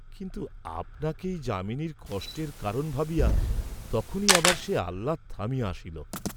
কিন্তু আপনাকেই যামিনীর কষ্টের কারণ ভাবিয়া তখনি আবার সে আহ্লাদ থামিয়া আসিল।